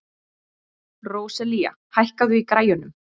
Róselía, hækkaðu í græjunum.